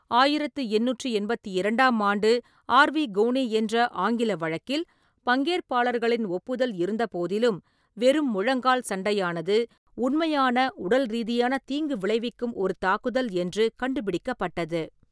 ஆயிரத்தி எண்ணூற்றி எண்பத்தி இரண்டாம் ஆண்டு ஆர். வி. கோனி என்ற ஆங்கில வழக்கில், பங்கேற்பாளர்களின் ஒப்புதல் இருந்தபோதிலும், வெறும் முழங்கால் சண்டையானது, உண்மையான உடல் ரீதியான தீங்கு விளைவிக்கும் ஒரு தாக்குதல் என்று கண்டுபிடிக்கப்பட்டது.